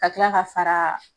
Ka kila ka fara